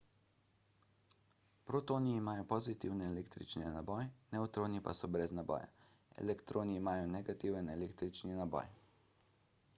protoni imajo pozitivni električni naboj nevtroni pa so brez naboja elektroni imajo negativni električni naboj